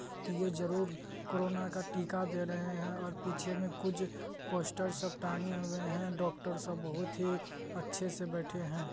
की ये जरूर कोरोना का टीका दे रहे है और पीछे में कुछ पोस्टर सब टाँगे हुए है डॉक्टर सब बहुत ही अच्छे से बैठे है।